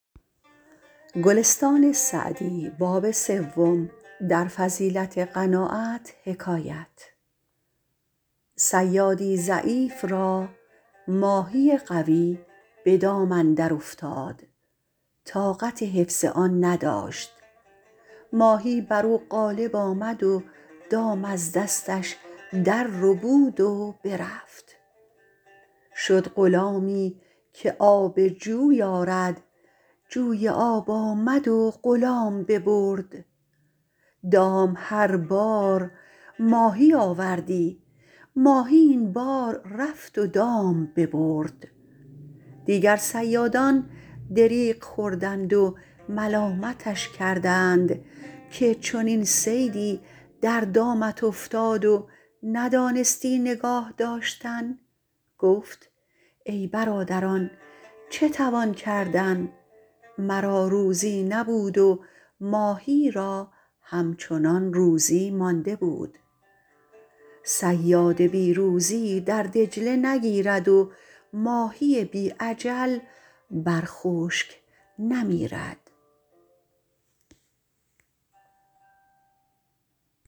صیادی ضعیف را ماهی قوی به دام اندر افتاد طاقت حفظ آن نداشت ماهی بر او غالب آمد و دام از دستش در ربود و برفت شد غلامی که آب جوی آرد جوی آب آمد و غلام ببرد دام هر بار ماهی آوردی ماهی این بار رفت و دام ببرد دیگر صیادان دریغ خوردند و ملامتش کردند که چنین صیدی در دامت افتاد و ندانستی نگاه داشتن گفت ای برادران چه توان کردن مرا روزی نبود و ماهی را همچنان روزی مانده بود صیاد بی روزی در دجله نگیرد و ماهی بی اجل بر خشک نمیرد